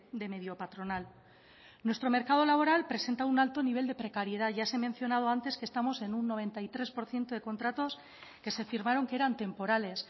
de medio patronal nuestro mercado laboral presenta un alto nivel de precariedad ya se ha mencionado antes que estamos en un noventa y tres por ciento de contratos que se firmaron que eran temporales